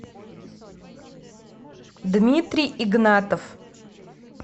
дмитрий игнатов